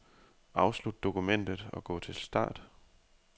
Afslut dokumentet og gå til start.